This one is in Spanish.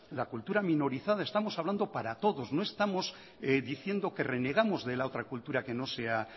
la cultura minorizada estamos hablando para todos no estamos diciendo que renegamos de la otra cultura que no sea